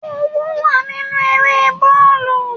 Owó wà nínú eré bọ́ọ̀lù.